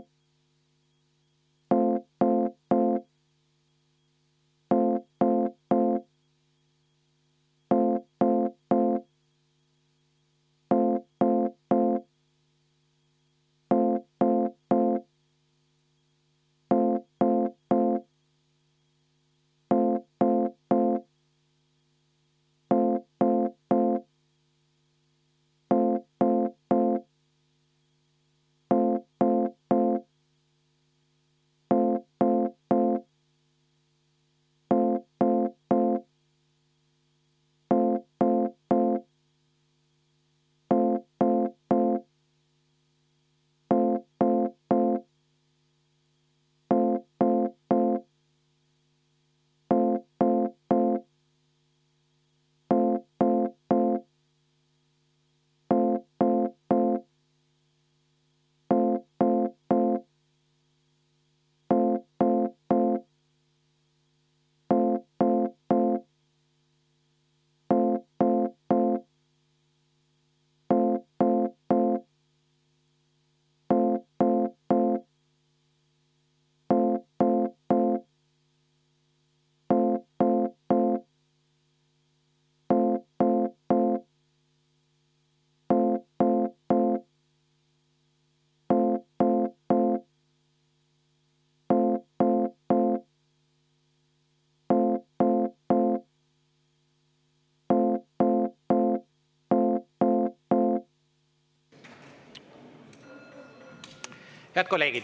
Head kolleegid!